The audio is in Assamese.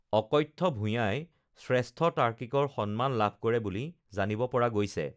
অকথ্য ভূঞাই শ্ৰেষ্ঠ তাৰ্কিকৰ সন্মান লাভ কৰে বুলি জানিব পৰা গৈছে